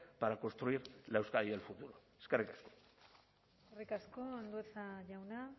para construir la euskadi del futuro eskerrik asko eskerrik asko andueza jauna